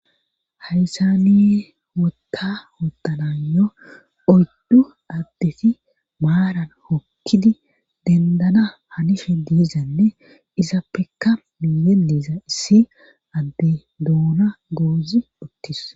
Haysaniye wotta wotanayo oyddu addeti maaran hokkidi dendana hanishe diizanne izappekka miiye diiza issi adde duuna goozi uttis.